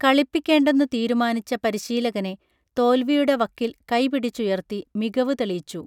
കളിപ്പിക്കേണ്ടെന്നു തീരുമാനിച്ച പരിശീലകനെ തോൽവിയുടെ വക്കിൽ കൈ പിടിച്ചുയർത്തി മികവു തെളിയിച്ചു